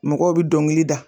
Mɔgɔw bɛ dɔnkili da.